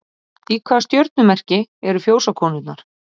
Í hvaða stjörnumerki eru Fjósakonurnar?